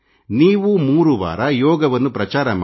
ನೀವೂ 3 ವಾರ ಯೋಗವನ್ನು ಪ್ರಚಾರ ಮಾಡಿ